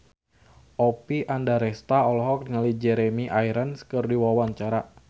Oppie Andaresta olohok ningali Jeremy Irons keur diwawancara